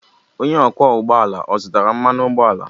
Onye ọkwọ ụgbọ ala o zụtara mmanụ ụgbọala?